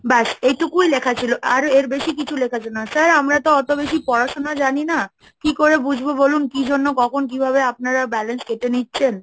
ব্যস এইটুকুই লেখা ছিল, আর এর বেশি কিছু লেখা ছিল না, Sir আমরা তো অত বেশি পড়াশোনা জানি না, কি করে বুঝবো বলুন? কি জন্য কখন কিভাবে আপনারা balance কেটে নিচ্ছেন?